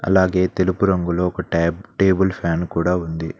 అలాగే తెలుపు రంగులో ఒక ట్యాబ్ టేబుల్ ఫ్యాన్ కూడా ఉంది.